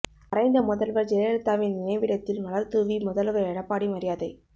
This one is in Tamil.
மறைந்த முதல்வர் ஜெயலலிதாவின் நினைவிடத்தில் மலர்தூவி முதல்வர் எடப்பாடி மரியாதை